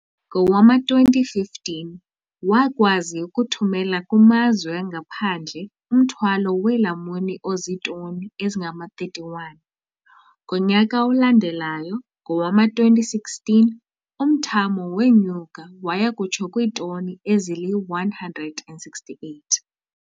Ngowama-2015, wakwazi ukuthumela kumazwe angaphandle umthwalo weelamuni ozitoni ezingama-31. Ngonyaka olandelayo, ngowama-2016, umthamo wenyuka waya kutsho kwiitoni ezili-168.